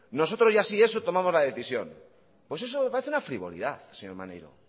nosotros ya si eso tomamos la decisión pues eso me parece una frivolidad señor maneiro